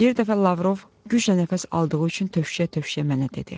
Bir dəfə Lavrov güclə nəfəs aldığı üçün tövşüyə-tövşüyə mənə dedi: